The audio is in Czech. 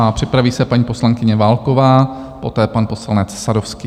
A připraví se paní poslankyně Válková, poté pan poslanec Sadovský.